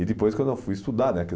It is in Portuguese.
E depois, quando eu fui estudar, né?